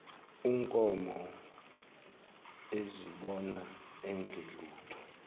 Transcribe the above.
unkomo ezibona engelutho